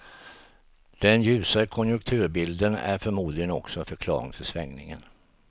Den ljusare konjunkturbilden är förmodligen också en förklaring till svängningen.